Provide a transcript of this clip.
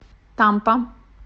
тампа